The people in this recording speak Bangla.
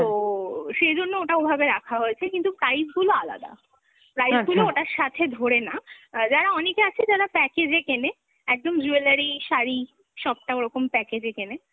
তো সেজন্য ওটা ওভাবে রাখা হয়েছে কিন্তু type গুলো আলাদা। price গুলো ওটার সাথে ধরে না, অ্যাঁ যারা অনেকে আছে যারা package এ কেনে, একদম jewelry, শাড়ি সবটা ওরকম package এ কেনে